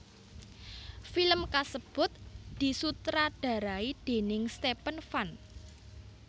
Film kasebut disutradarai déning Stephen Fun